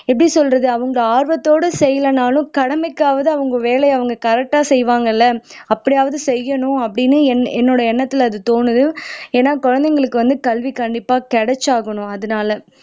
எப்படி சொல்றது அவங்க ஆர்வத்தோட செய்யலைனாலும் கடமைக்காவது அவங்க வேலையை அவங்க கரெக்டா செய்வாங்க இல்ல அப்படியாவது செய்யணும் அப்படின்னு என்னோட எண்ணத்துல தோணுது ஏன்ன குழந்தைகளுக்கு வந்து கல்வி கண்டிப்பா கெடச்சாகனும் அதனால